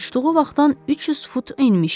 Uçduğu vaxtdan 300 fut enmişdi.